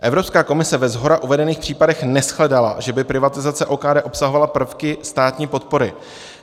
Evropská komise ve shora uvedených případech neshledala, že by privatizace OKD obsahovala prvky státní podpory.